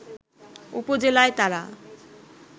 উপজেলায় তারা